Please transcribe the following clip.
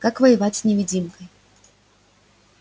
как воевать с невидимкой